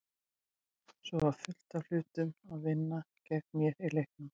Svo var fullt af hlutum að vinna gegn mér í leiknum.